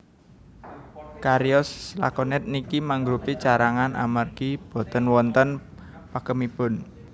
Cariyos lakonet niki mangrupi carangan amargi boten wonten pakemipun